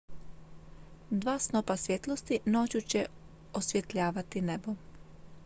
dva snopa svjetlosti noću će osvjetljavati nebo